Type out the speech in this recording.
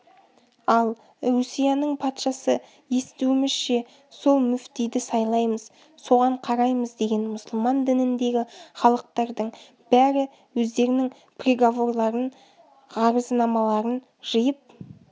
ал русияның патшасы естуімізше сол мүфтиді сайлаймыз соған қараймыз деген мұсылман дініндегі халықтардың бәрі өздерінің приговорларын ғарызнамаларын жиып